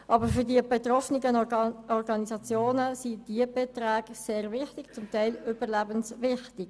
Aber für die betroffenen Organisationen sind diese Beträge sehr wichtig, ja teilweise sogar überlebenswichtig.